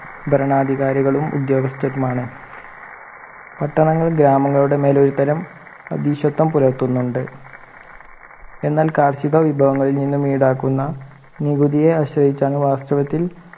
ഭരണാധികാരികളും ഉദ്യോഗസ്ഥരുമാണ് പട്ടണങ്ങൾ ഗ്രാമങ്ങളുടെ മേൽ ഒരുതരം അധീക്ഷത്വം പുലർത്തുന്നുണ്ട് എന്നാൽ കാർഷിക വിഭവങ്ങളിൽ നിന്നും ഈടാക്കുന്ന നികുതിയെ ആശ്രയിച്ചാണ് വാസ്ഥവത്തിൽ